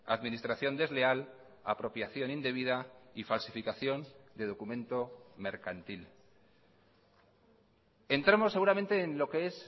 administración desleal apropiación indebida y falsificación de documento mercantil entramos seguramente en lo que es